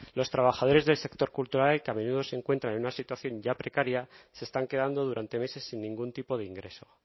los trabajadores del sector cultural y que a menudo se encuentran en una situación ya precaria se están quedando durante meses sin ningún tipo de ingreso